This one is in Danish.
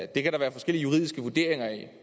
det kan der være forskellige juridiske vurderinger af